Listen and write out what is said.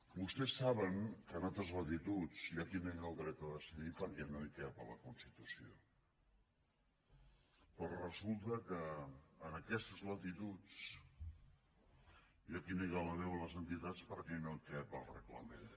vostès saben que en altres latituds hi ha qui nega el dret a decidir perquè no hi cap a la constitució però resulta que en aquestes latituds hi ha qui nega la veu a les entitats perquè no cap al reglament